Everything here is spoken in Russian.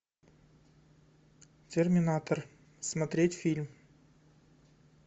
терминатор смотреть фильм